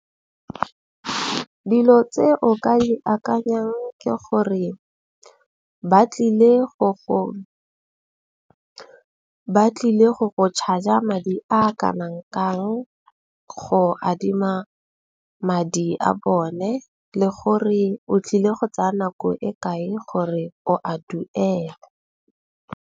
Dilo tse o ka iakanyang ke gore ba tlile go, ba tlile go go charger madi a kanang kang, go adima madi a bone le gore o tlile go tsaya nako e kae gore o a duela.